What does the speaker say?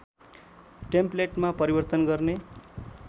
टेम्पलेटमा परिवर्तन गर्ने